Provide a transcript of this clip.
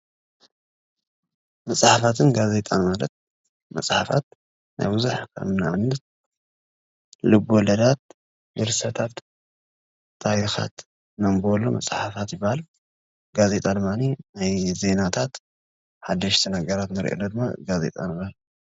መጽሓፋትን ጋዜጣን ማለት መጽሓፋት ናይ ቡዙሕ ንኣብነት ልበወለዳት፣ ድርሰታት ፣ታሪኻት ነንብበሉ መጽሓፋት ይብሃል፤ ጋዜጣ ድማኒ ናይ ዜናታት ሓደሽቲ ነገራት ንርእየሉ ድማ ጋዜጣ ይብሃል።